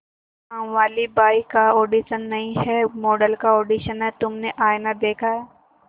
कामवाली बाई का ऑडिशन नहीं है मॉडल का ऑडिशन है तुमने आईना देखा है